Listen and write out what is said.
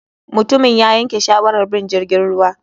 Mutumin ya yanke shawarar bin jirgin ruwa.